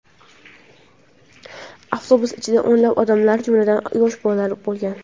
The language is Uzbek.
Avtobus ichida o‘nlab odamlar, jumladan, yosh bolalar bo‘lgan.